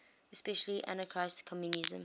especially anarchist communism